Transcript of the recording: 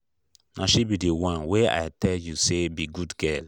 na she be the one wey i tell you say be good girl